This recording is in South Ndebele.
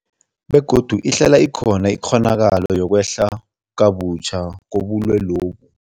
Begodu ihlala ikhona ikghonakalo yokwehla kabutjha kobulwelobu.